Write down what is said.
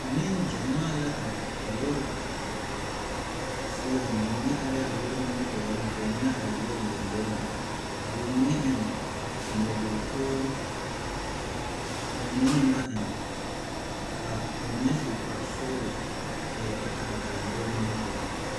Nengyamaa la are, lɔre seɛŋ ba mine are la a lɔre nimitɔreŋ ka ba mine. are a lɔre lambori ka ba mine eŋɛ. nyɔbogi tɔɔre ka ba mine meŋ ba eŋ ka ba mine su kpare sɔglɔ a e bata a are a lɔre nimitɔreŋ.